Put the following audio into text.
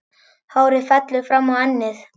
Og hárið fellur fram á ennið.